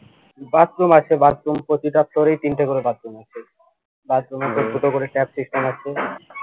bathroom আছে bathroom প্রতিটা floor এই তিনটা করে bathroom আছে bathroom